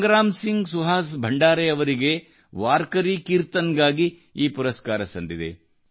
ಸಂಗ್ರಾಮ್ ಸಿಂಗ್ ಸುಹಾಸ್ ಭಂಡಾರೆ ಅವರಿಗೆ ವಾರ್ಕರಿ ಕೀರ್ತನ್ ಗಾಗಿ ಈ ಪುರಸ್ಕಾರ ಸಂದಿದೆ